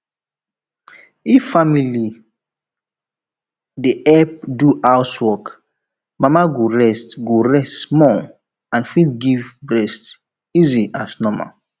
if family dey help do house work mama go rest go rest small and fit give breast easy as normal